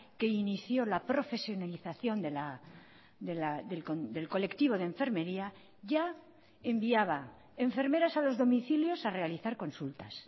que inició la profesionalización del colectivo de enfermería ya enviaba enfermeras a los domicilios a realizar consultas